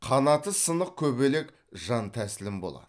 қанаты сынық көбелек жан тәслім болады